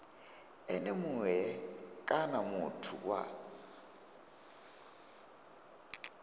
ene mue kana muthu wa